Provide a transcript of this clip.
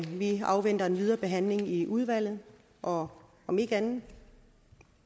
vi afventer den videre behandling i udvalget og om ikke andet